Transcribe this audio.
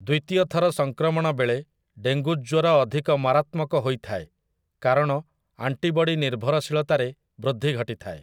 ଦ୍ୱିତୀୟ ଥର ସଙ୍କ୍ରମଣ ବେଳେ ଡେଙ୍ଗୁ ଜ୍ୱର ଅଧିକ ମାରାତ୍ମକ ହୋଇଥାଏ କାରଣ ଆଣ୍ଟିବଡି ନିର୍ଭରଶୀଳତାରେ ବୃଦ୍ଧି ଘଟିଥାଏ ।